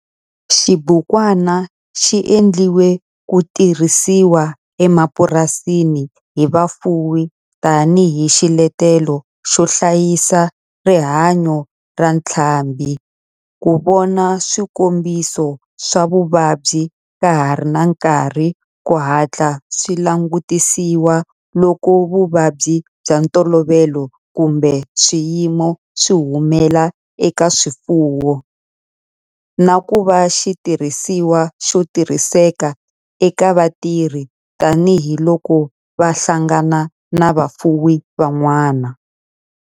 Xibukwana xi endliwe ku tirhisiwa emapurasini hi vafuwi tani hi xiletelo xo hlayisa rihanyo ra ntlhambhi, ku vona swikombiso swa vuvabyi ka ha ri na nkarhi ku hatla swi langutisiwa loko vuvabyi bya ntolovelo kumbe swiyimo swi humelela eka swifuwo, na ku va xitirhisiwa xo tirhiseka eka vatirhi tani hi loko va hlangana na vafuwi van'wana.